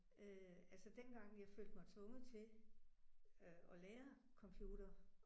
Øh altså dengang jeg følte mig tvunget til øh at lære computer